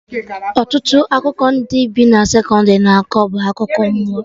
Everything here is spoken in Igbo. Ọtụtụ akụkọ ndị bi na sekọndrị na-akọ bụ akụkọ mmụọ